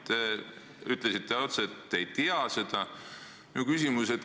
Te ütlesite otse, et te ei tea seda.